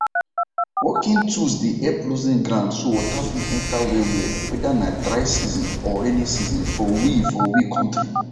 working tools dey help loosen ground so water fit enter wellwell whether na dry season or rainy season for we for we kontri